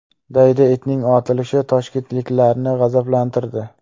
Daydi itning otilishi toshkentliklarni g‘azablantirdi .